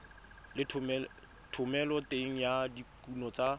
le thomeloteng ya dikuno tsa